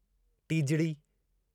टीजिड़ी